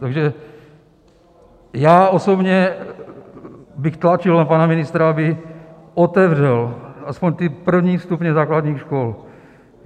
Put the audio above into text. Takže já osobně bych tlačil na pana ministra, aby otevřel aspoň ty první stupně základních škol.